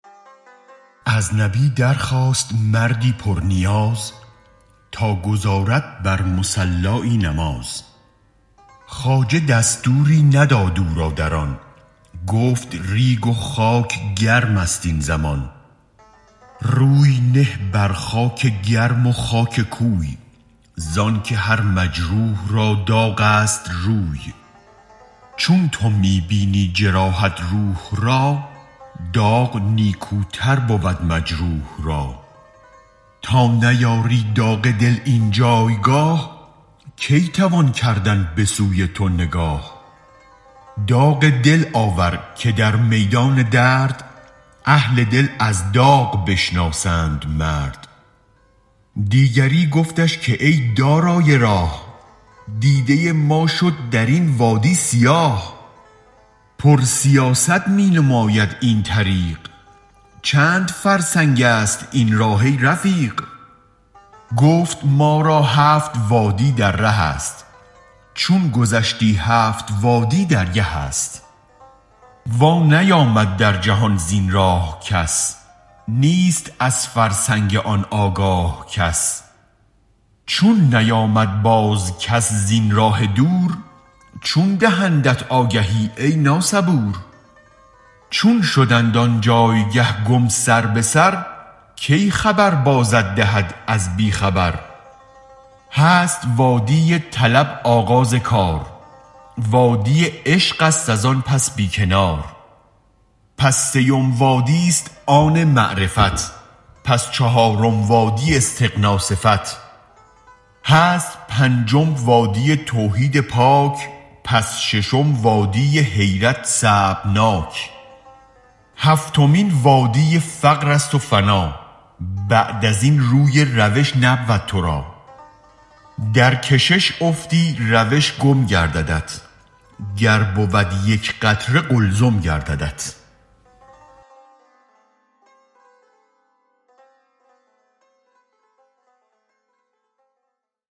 از نبی در خواست مردی پر نیاز تا گزارد بر مصلایی نماز خواجه دستوری نداد او را در آن گفت ریگ و خاک گرمست این زمان روی نه بر خاک گرم و خاک کوی زانک هر مجروح را داغست روی چون تو می بینی جراحت روح را داغ نیکوتر بود مجروح را تا نیاری داغ دل این جایگاه کی توان کردن بسوی تو نگاه داغ دل آور که در میدان درد اهل دل از داغ بشناسند مرد دیگری گفتش که ای دارای راه دیده ما شد درین وادی سیاه پر سیاست می نماید این طریق چند فرسنگ است این راه ای رفیق گفت ما را هفت وادی در ره است چون گذشتی هفت وادی درگه است وا نیامد در جهان زین راه کس نیست از فرسنگ آن آگاه کس چون نیامد بازکس زین راه دور چون دهندت آگهی ای نا صبور چون شدند آنجایگه گم سر به سر کی خبر بازت دهد از بی خبر هست وادی طلب آغاز کار وادی عشق است از آن پس بی کنار پس سیم وادیست آن معرفت پس چهارم وادی استغنی صفت هست پنجم وادی توحید پاک پس ششم وادی حیرت صعب ناک هفتمین وادی فقرست و فنا بعد ازین روی روش نبود ترا درکشش افتی روش گم گرددت گر بود یک قطره قلزم گرددت